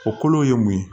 O kolo ye mun ye